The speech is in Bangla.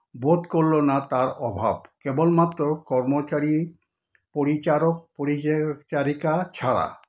বোধ করলো না তাঁর অভাব, কেবলমাত্র কর্মচারী, পরিচারক-পরিচারিকা ছাড়া।